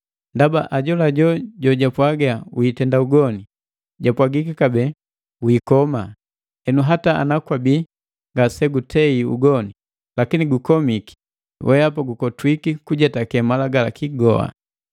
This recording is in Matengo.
Ndaba ajolajo jojapwaga: “Witenda ugoni,” japwagiki kabee, “Wiikoma,” henu hata ana kwabii ngasegutei ugoni, lakini gukomiki, wehapa gukotwiki kujetake malagalaki goa.